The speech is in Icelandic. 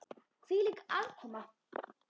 Hvílík aðkoma!